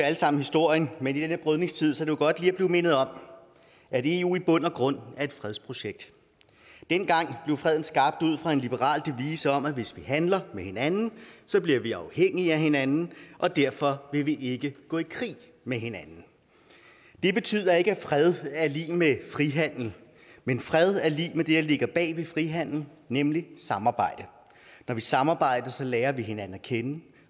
alle sammen historien men i denne brydningstid er det jo godt lige at blive mindet om at eu i bund og grund er et fredsprojekt dengang blev freden skabt ud fra en liberal devise om at hvis vi handler med hinanden bliver vi afhængige af hinanden og derfor vil vi ikke gå i krig med hinanden det betyder ikke at fred er lig med frihandel men fred er lig med det der ligger bag ved frihandel nemlig samarbejde når vi samarbejder lærer vi hinanden at kende